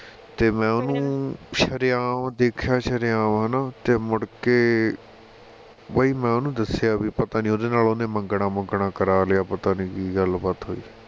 ਤੇ ਮੈ ਓਹਨੂੰ ਸ਼ਰੇਆਮ ਦੇਖਿਆ ਸ਼ਰੇਆਮ ਹੈਨਾ ਤੇ ਮੁੜ ਕੇ ਵਹਿ ਮੈਂ ਉਹਨੂੰ ਦੱਸਿਆ ਵੀਂ ਪਤਾ ਨੀ ਉਹਦੇ ਨਾਲ ਉਹਨੇ ਮੰਗਣਾ ਮੁੰਗਣਾ ਕਰਾ ਲਿਆ ਪਤਾ ਨਹੀ ਕਿ ਗੱਲ ਬਾਤ ਹੋਈ